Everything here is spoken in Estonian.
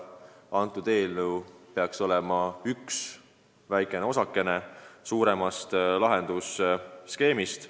See eelnõu peaks seaduseks saanuna olema üks väike osakene suuremast lahendusskeemist.